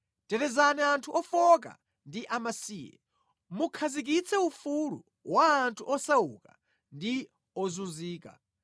Tetezani anthu ofowoka ndi amasiye; mukhazikitse ufulu wa anthu osauka ndi ozunzika.